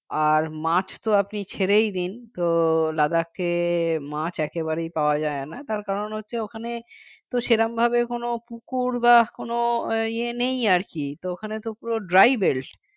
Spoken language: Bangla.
আর মাছ তো আপনি ছেড়েই দিন তো Ladakh এ মাছ একেবারে পাওয়া যায় না তার কারণ হচ্ছে ওখানে তো সেরকমভাবে কোনও পুকুর বা কোন ইয়ে নেই আর কি তো ওখানে তো পুরো dry belt